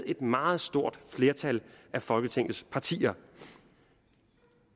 et meget stort flertal af folketingets partier